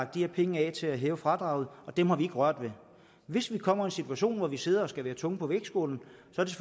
de her penge af til at hæve fradraget og dem har vi ikke rørt ved hvis vi kommer i en situation hvor vi sidder og skal være tungen på vægtskålen så